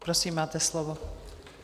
Prosím, máte slovo.